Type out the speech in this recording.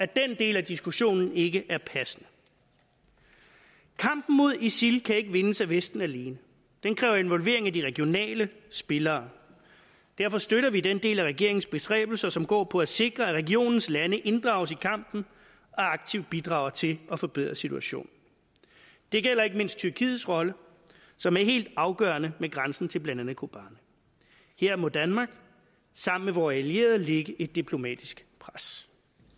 den del af diskussionen ikke er passende kampen mod isil kan ikke vindes af vesten alene den kræver involvering af de regionale spillere derfor støtter vi den del af regeringens bestræbelser som går på at sikre at regionens lande inddrages i kampen og aktivt bidrager til at forbedre situationen det gælder ikke mindst tyrkiets rolle som er helt afgørende med grænsen til blandt andet kobane her må danmark sammen med vore allierede lægge et diplomatisk pres